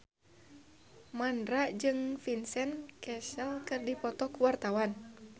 Mandra jeung Vincent Cassel keur dipoto ku wartawan